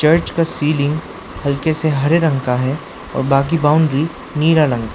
Bridge का ceiling हल्के से हरे रंग का है और बाकी बाउंड्री नीला रंग का है।